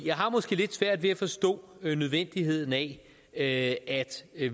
jeg har måske lidt svært ved at forstå nødvendigheden af at